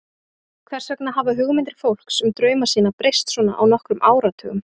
Hvers vegna hafa hugmyndir fólks um drauma sína breyst svona á nokkrum áratugum?